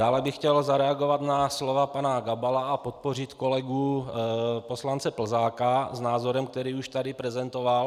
Dále bych chtěl zareagovat na slova pana Gabala a podpořit kolegu poslance Plzáka s názorem, který už tady prezentoval.